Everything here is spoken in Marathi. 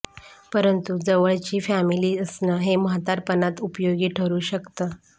परंतु जवळची फॅमिली असणं हे म्हातारपणात उपयोगी ठरू शकतं